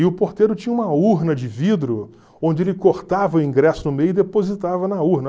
E o porteiro tinha uma urna de vidro onde ele cortava o ingresso no meio e depositava na urna.